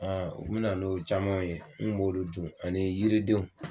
u bɛ na n'o caman ye n kun b'olu dun ani yiridenw